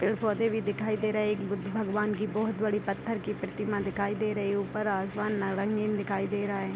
पेड़-पौधे भी दिखाई दे रहे हैं एक बुद्ध भगवान की बहुत बड़ी पत्थर की प्रतिमा दे रही है ऊपर आसमान दिखाई दे रहा है।